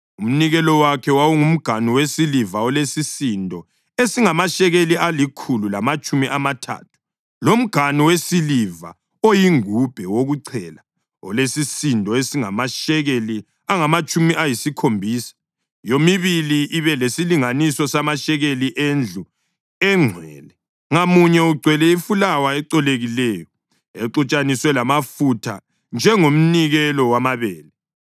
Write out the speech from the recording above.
Umnikelo wakhe: wawungumganu wesiliva olesisindo esingamashekeli alikhulu lamatshumi amathathu, lomganu wesiliva oyingubhe wokuchela olesisindo esingamashekeli angamatshumi ayisikhombisa, yomibili ibe lesilinganiso samashekeli endlu engcwele, ngamunye ugcwele ifulawa ecolekileyo exutshaniswe lamafutha njengomnikelo wamabele;